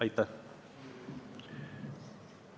Aitäh!